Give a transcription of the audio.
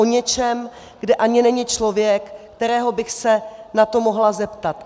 O něčem, kde ani není člověk, kterého bych se na to mohla zeptat.